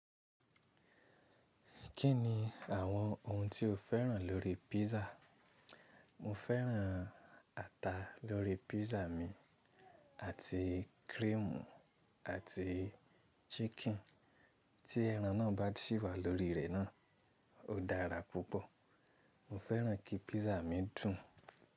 Kí ni àwọn ohun tí o fẹ́ràn lórí pízza? Mo fẹ́ràn ata lórí pizza mi àti kírẹ́ẹ̀mù àti ṣíkìn. Tí ẹran náà bá sì wà lórí rẹ̀ náà, ó dára púpọ̀. Mo fẹ́ràn kí pízza mi dùn.